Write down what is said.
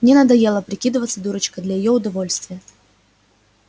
мне надоело прикидываться дурочкой для её удовольствия